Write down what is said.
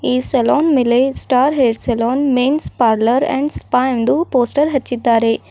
ಈ ಸಲೋನ್ ಮೇಲೆ star hair salon men's parlour and spa ಎಂದು ಪೋಸ್ಟರ್ ಹಚ್ಚಿದ್ದಾರೆ.